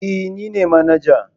Eh ni ne manaja.